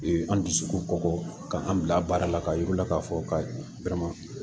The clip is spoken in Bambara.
An dusukun kɔkɔ ka an bila baara la ka yir'u la k'a fɔ ka